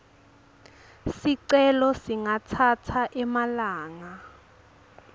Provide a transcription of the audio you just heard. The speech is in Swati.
sicelo singatsatsa emalanga